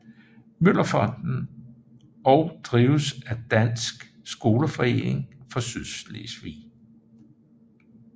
Møller Fonden og drives af Dansk Skoleforening for Sydslesvig